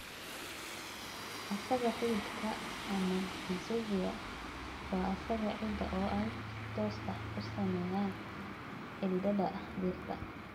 Aagga xididka, ama rhizosphere, waa aagga ciidda oo ay si toos ah u saameeyaan xididdada dhirta.